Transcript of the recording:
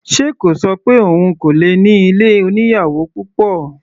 Ṣe kò ṣọ pé òun kò lè ní ilé oníyàwò púpọ̀?